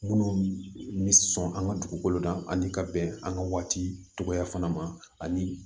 Minnu bɛ sɔn an ka dugukolo la ani ka bɛn an ka waati tɔgɔ fana ma ani